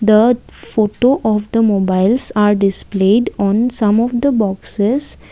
The photo of the mobiles are displayed on some of the boxes.